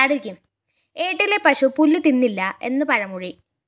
ഏട്ടിലെ പശു പുല്ലുതിന്നില്ല എന്നു പഴമൊഴി